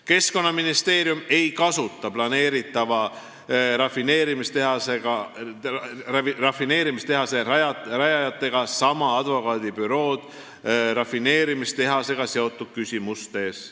" Keskkonnaministeerium ei kasuta planeeritava rafineerimistehase rajajatega sama advokaadibürood rafineerimistehasega seotud küsimustes.